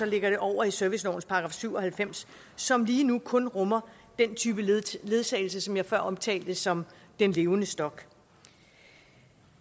lægger det over i servicelovens § syv og halvfems som lige nu kun rummer den type ledsagelse som jeg før omtalte som den levende stok